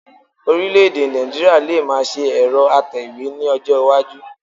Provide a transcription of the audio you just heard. Ọ̀rílẹ̀-èdè Nigeria lè máa ṣe ẹ̀rọ atẹ̀wé ní ọjọ́ iwájú